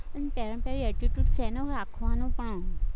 ઈ પેલામાં પેલું attitude શેનો રાખવાનો પણ